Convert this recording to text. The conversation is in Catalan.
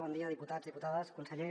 bon dia diputats diputades conseller